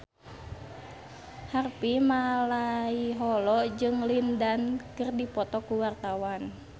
Harvey Malaiholo jeung Lin Dan keur dipoto ku wartawan